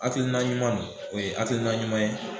Akilina ɲuman no o ye akilina ɲuman ye